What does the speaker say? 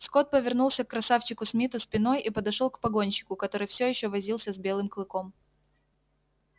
скотт повернулся к красавчику смиту спиной и подошёл к погонщику который всё ещё возился с белым клыком